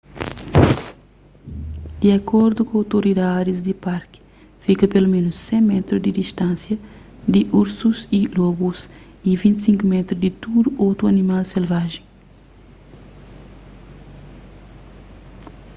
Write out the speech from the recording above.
di akordu ku outoridadis di parki fika peloménus 100 métru di distánsia di ursus y lobus y 25 métru di tudu otu animal selvajen